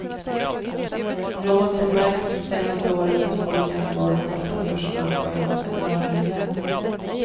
Något som märkts det senaste året är att folk gärna går de korta kurserna på en eller några helger.